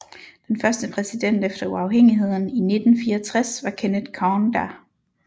Den første præsident efter uafhængigheden i 1964 var Kenneth Kaunda